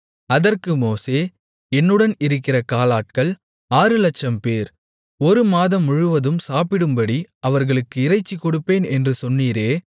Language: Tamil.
அதற்கு மோசே என்னுடன் இருக்கிற காலாட்கள் ஆறுலட்சம்பேர் ஒரு மாதம் முழுவதும் சாப்பிடும்படி அவர்களுக்கு இறைச்சி கொடுப்பேன் என்று சொன்னீரே